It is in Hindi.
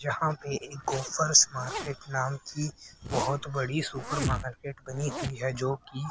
यहां पे एक गॉफर्स मार्केट नाम की बहुत बड़ी सुपर मार्केट बनी हुई है जो कि--